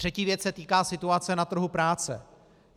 Třetí věc se týká situace na trhu práce.